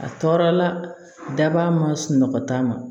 A tɔɔrɔ la daba ma sunɔgɔ ta ma